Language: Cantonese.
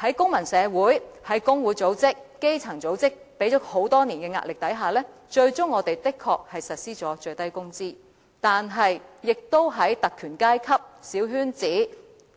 在公民社會、工會組織、基層組織多年施壓下，本港最終確實實施了最低工資，但在特權階級、小圈子